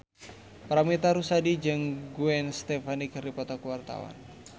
Paramitha Rusady jeung Gwen Stefani keur dipoto ku wartawan